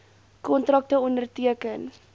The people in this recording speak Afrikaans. kontrakte onderteken